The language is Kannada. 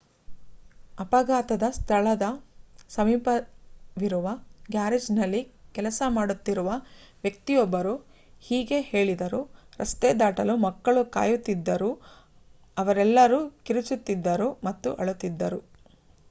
ಅಪಘಾತದ ಸ್ಥಳದ ಸಮೀಪವಿರುವ ಗ್ಯಾರೇಜ್‌ನಲ್ಲಿ ಕೆಲಸ ಮಾಡುತ್ತಿರುವ ವ್ಯಕ್ತಿಯೊಬ್ಬರು ಹೀಗೆ ಹೇಳಿದರು: ರಸ್ತೆ ದಾಟಲು ಮಕ್ಕಳು ಕಾಯುತ್ತಿದ್ದರು ಅವರೆಲ್ಲರೂ ಕಿರುಚುತ್ತಿದ್ದರು ಮತ್ತು ಅಳುತ್ತಿದ್ದರು.